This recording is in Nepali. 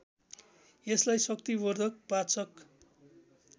यसलाई शक्तिवर्धक पाचक